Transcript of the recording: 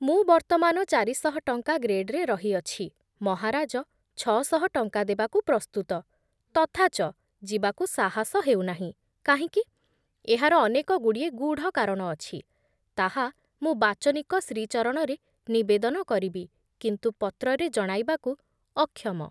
ମୁଁ ବର୍ତ୍ତମାନ ଚାରିଶହ ଟଙ୍କା ଗ୍ରେଡରେ ରହିଅଛି, ମହାରାଜ ଛଅ ଶହ ଟଙ୍କା ଦେବାକୁ ପ୍ରସ୍ତୁତ, ତଥାଚ ଯିବାକୁ ସାହସ ହେଉନାହିଁ କାହିଁକି, ଏହାର ଅନେକ ଗୁଡ଼ିଏ ଗୂଢ଼ କାରଣ ଅଛି, ତାହା ମୁଁ ବାଚନିକ ଶ୍ରୀଚରଣରେ ନିବେଦନ କରିବି, କିନ୍ତୁ ପତ୍ରରେ ଜଣାଇବାକୁ ଅକ୍ଷମ ।